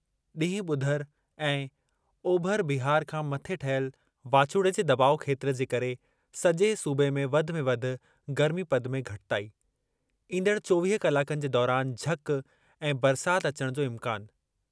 ॾींहुं -ॿुधर ऐं, ओभर बिहार खां मथे ठहियल वाचूड़े जे दॿाउ खेत्रु जे करे सजे॒ सूबे में वधि में वधि गर्मीपद में घटिताई । ईंदड़ चोवीह कलाकनि जे दौरान झक ऐं बरसाति अचणु जो इम्कानु।